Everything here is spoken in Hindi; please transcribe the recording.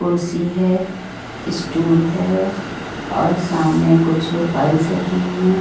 कुर्सी है स्टूल है और सामने कुछ फाइल्स रखी हुई हैं।